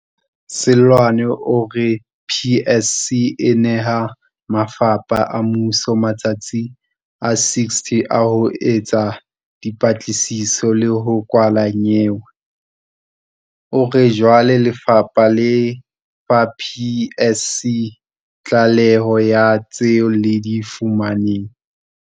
Seloane o re PSC e neha mafapha a mmuso matsatsi a 60 a ho etsa dipatlisiso le ho kwala nyewe. O re jwale lefapha le fa PSC tlaleho ya tseo le di fumaneng.